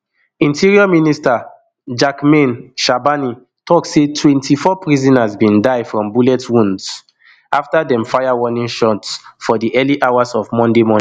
interior minister jacquemain shabani tok say twenty-four prisoners bin die from bullet wounds afta dem fire warning shots for di early hours of monday morning